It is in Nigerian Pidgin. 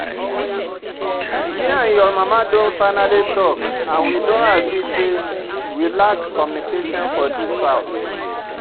Me and your mama don finally talk and we don agree say we lack communication for dis house